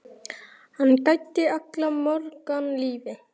Hann gæddi alla morgna lífi.